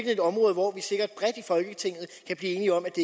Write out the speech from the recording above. et område hvor vi sikkert bredt i folketinget kan blive enige om at det